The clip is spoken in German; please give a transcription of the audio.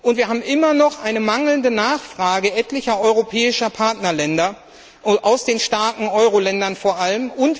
Und wir haben immer noch eine mangelnde Nachfrage etlicher europäischer Partnerländer, aus den starken Euroländern vor allem.